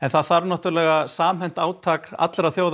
það þarf samhent átak allra þjóða